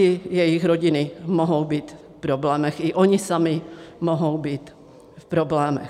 I jejich rodiny mohou být v problémech, i oni sami mohou být v problémech.